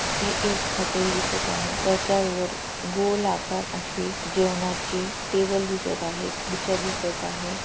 हे एक हॉटेल दिसत आहे त्याच्यावर गोल आकार अशी जेवणाची टेबल दिसत आहे खुर्च्या दिसत आहे.